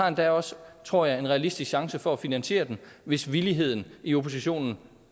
endda også tror jeg en realistisk chance for at finansiere den hvis villigheden i oppositionen